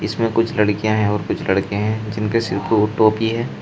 इसमें कुछ लड़कियां हैं और कुछ लड़के हैं जिनके सिर पर वो टोपी है।